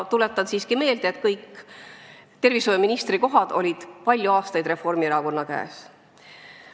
Tuletan siiski meelde, et tervishoiuministri koht oli palju aastaid Reformierakonna käes.